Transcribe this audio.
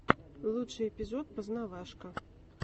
лучший эпизод познавашка